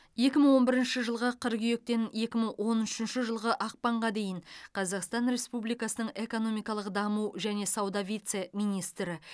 екі мың он бірінші жылғы қыркүйектен екі мың он үшінші жылғы ақпанға дейін қазақстан республикасының экономикалық даму және сауда вице министрі